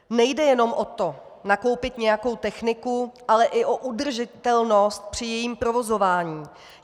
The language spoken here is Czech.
Nejde jenom o to, nakoupit nějakou techniku, ale i o udržitelnost při jejím provozování.